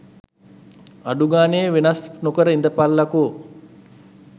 අඩුගානෙ වෙනස් නොකර ඉඳපල්ලකො.